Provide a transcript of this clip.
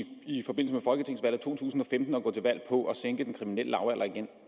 to tusind og femten at gå til valg på at sænke den kriminelle lavalder igen